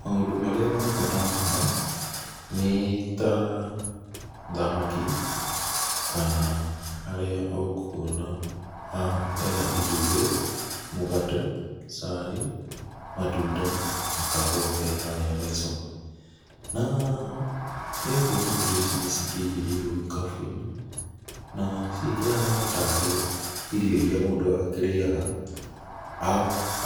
Maũndũ marĩa ma bata haha, nĩ ta thamaki, kana harĩa ũkuona haha hena itumbĩ, mũgate, cai, matunda na kahũa ke harĩa mũico. Na, nĩũkuona indo ici nĩcikĩigĩrĩirwo gĩkabũ-inĩ, na cikĩhana ta rĩ irio iria mũndũ akĩrĩaga